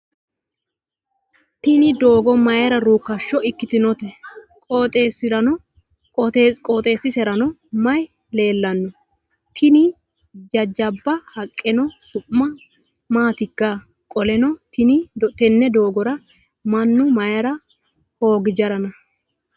Tini doogo mayiira ruukkasho ikkitinote? Qooxesiserano mayi leellanno? Tini jajjaba haqqeno su'ma maatikka? Qoleno tenne doogora mannu mayiira hoogi jarana?